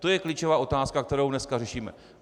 To je klíčová otázka, kterou dneska řešíme.